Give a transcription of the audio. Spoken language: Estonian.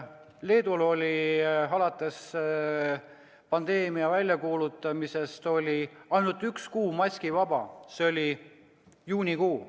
Leedul oli alates pandeemia väljakuulutamisest ainult üks kuu maskivaba, see oli juunikuu.